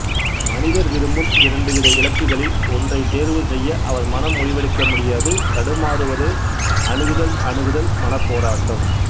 மனிதர் விரும்பும் இரண்டு வித இலக்குகளில் ஒன்றைத் தேர்வு செய்ய அவர் மனம் முடிவெடுக்க முடியாது தடுமாறுவதே அணுகுதல்அணுகுதல் மனப்போராட்டம்